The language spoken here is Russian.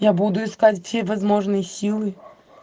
я буду искать все возможные силы